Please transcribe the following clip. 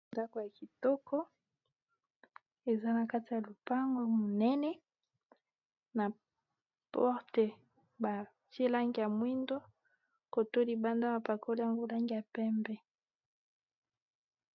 Ndako ya kitoko eza na kati ya lopango monene na porte batiye langi ya mwindo koto libanda ba pakoli yango langi ya pembe